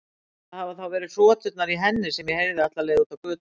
Það hafa þá verið hroturnar í henni sem ég heyrði alla leið út á götu.